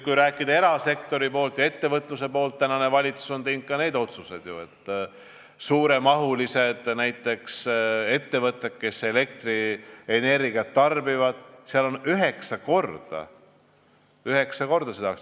Kui rääkida erasektori ja ettevõtluse poolelt, siis tänane valitsus on teinud ju ka need otsused, et näiteks suurtel ettevõtetel, kes elektrienergiat tarbivad, on üheksa korda – üheksa korda!